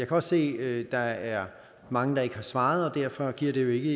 også se at der er mange der ikke har svaret og derfor giver det jo ikke